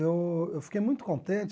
Eu eu fiquei muito contente.